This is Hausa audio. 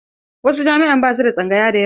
Wasu jami'an ba su da tsangaya da yawa.